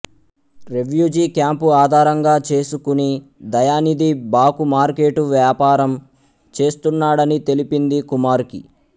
రెవ్యూజి camp ఆధారంగా చేసుకుని దయానిథి భాకుమార్కెటు వ్యాపారము చేస్తున్నాడని తెలిపింది కుమార్ కి